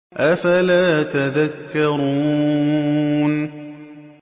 أَفَلَا تَذَكَّرُونَ